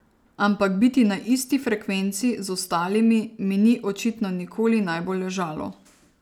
Ampak biti na isti frekvenci z ostalimi mi ni očitno nikoli najbolj ležalo.